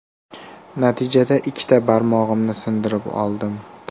Natijada ikkita barmog‘imni sindirib oldim.